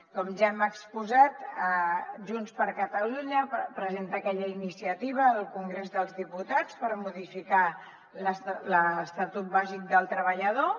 com ja hem exposat junts per catalunya presenta aquella iniciativa al congrés dels diputats per modificar l’estatut bàsic del treballador